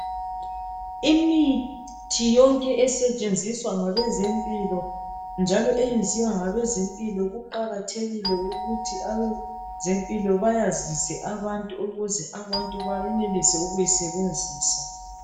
Imithi yonke esetshenziswa ngabezempilo njalo eyenziwa ngabezempilo kuqakathekile ukuthi abezempilo bayazise abantu ukuze abantu bayenelise ukuyisebenzisa.